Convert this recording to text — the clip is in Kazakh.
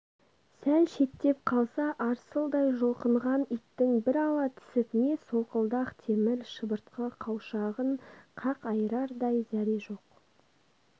сәл шеттеп қалса арсылдай жұлқынған иттің бір ала түсіп не солқылдақ темір шыбыртқы қауашағын қақ айырардай зәре жоқ